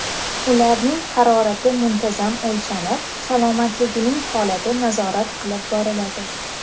Ularning harorati muntazam o‘lchanib, salomatligining holati nazorat qilib boriladi.